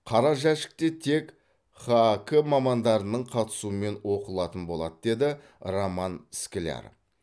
қара жәшік те тек хак мамандарының қатысуымен оқылатын болады деді роман скляр